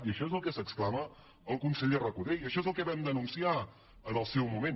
i això és del que s’exclama el conseller recoder i això és el que vam denunciar en el seu moment